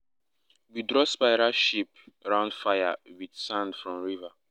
we draw spiral shape round fire with sand from river.